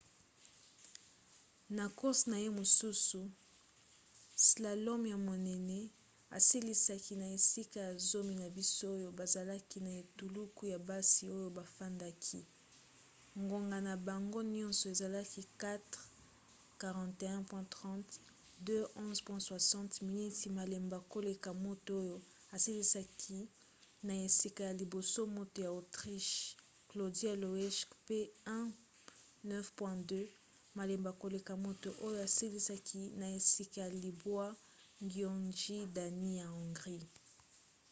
na course na ye mosusu slalom ya monene asilisaki na esika ya zomi na basi oyo bazalaki na etuluku ya basi oyo bafandaki; ngonga na bango nyonso ezalaki 4:41.30 2:11.60 miniti malembe koleka moto oyo asilisaki na esika ya liboso moto ya autriche claudia loesch pe 1:09.02 malembe koleka moto oyo asilisaki na esika ya libwa gyöngyi dani ya hongrie